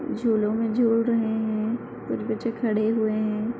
झूलो में झूल रहे हैं। कुछ बच्चे खड़े हुए हैं।